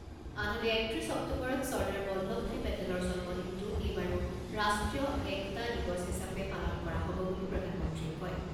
আনহাতে একত্ৰিছ অক্টোবৰত চৰ্দাৰ বল্লভ ভাই পেটেলৰ জন্মদিনটো এইবাৰো ৰাষ্ট্ৰীয় একতা দিৱস হিচাপে পালন কৰা হ'ব বুলি প্ৰধানমন্ত্ৰীয়ে কয়।